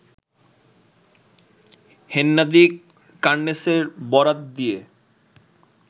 হেন্নাদি কার্নেসের বরাত দিয়ে